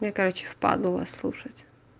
мне короче лень вас слушать